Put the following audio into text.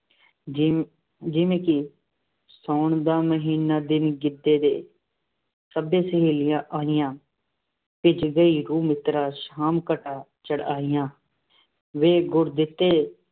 ਜਿਵੇਂ ਜਿਵੇਂ ਕਿ ਸਾਉਣ ਮਹੀਨਾ ਦਿਨ ਗਿੱਧੇ ਦੇ, ਸਭੇ ਸਹੇਲੀਆਂ ਆਈਆਂ, ਭਿੱਜ ਗਈ ਰੂਹ ਮਿੱਤਰਾ, ਸ਼ਾਮ ਘਟ੍ਹਾਂ ਚੜ੍ ਆਈਆਂ -ਵੇ ਗੁਰਦਿੱਤੇ